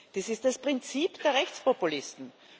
Das ist das Prinzip der Rechtspopulisten.